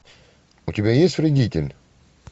у тебя есть вредитель